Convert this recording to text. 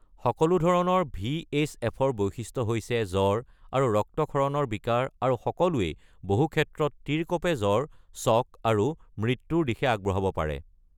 সকলো ধৰণৰ ভিএইচএফৰ বৈশিষ্ট্য হৈছে জ্বৰ আৰু ৰক্তক্ষৰণৰ বিকাৰ আৰু সকলোৱেই বহু ক্ষেত্ৰত তীৰকঁপে জ্বৰ, শ্বক, আৰু মৃত্যুৰ দিশে আগবঢ়াব পাৰে।